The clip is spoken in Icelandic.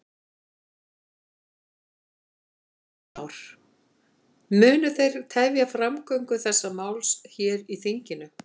Heimir Már: Munu þið tefja framgöngu þessa máls hér í þinginu?